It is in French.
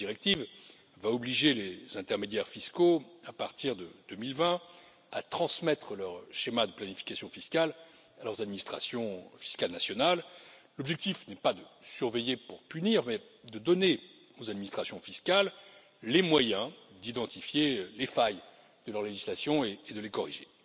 Cette directive va obliger les intermédiaires fiscaux, à partir de 2020, à transmettre leurs schémas de planification fiscale à leurs administrations fiscales nationales. L'objectif n'est pas de surveiller pour punir, mais de donner aux administrations fiscales les moyens d'identifier les failles de leur législation et de les corriger.